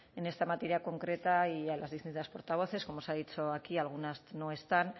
en esta materia concreta y a las distintas portavoces como se ha dicho aquí algunas no están